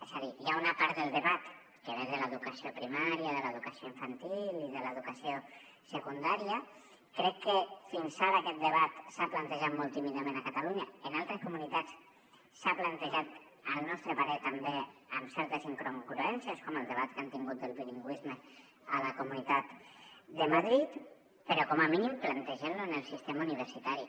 és a dir hi ha una part del debat que ve de l’educació primària de l’educació infantil i de l’educació secundària crec que fins ara aquest debat s’ha plantejat molt tímidament a catalunya en altres comunitats s’ha plantejat al nostre parer també amb certes incongruències com el debat que han tingut del bilingüisme a la comunitat de madrid però com a mínim plantegem lo en el sistema universitari